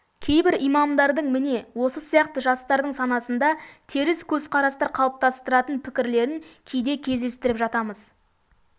кейбір имамдардың міне осы сияқты жастардың санасында теріс көзқарастар қалыптастыратын пікірлерін кейде кездестіріп жатамыз